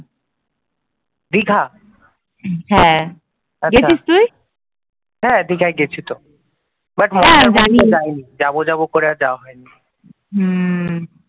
হম